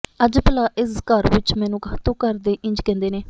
ਅੱਜ ਭਲਾਂ ਇਸ ਘਰ ਵਿਚ ਮੈਨੂੰ ਕਾਹਤੋਂ ਘਰ ਦੇ ਇੰਜ ਕਹਿੰਦੇ ਨੇ